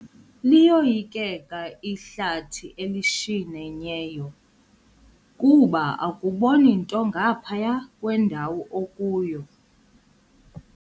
Liyoyikeka ihlathi elishinyeneyo kuba akuboni nto ngaphaya kwendawo okuyo.